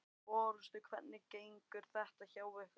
Örstutt, hvernig gengur þetta hjá ykkur?